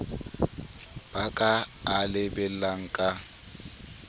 ba ka a lebellang ka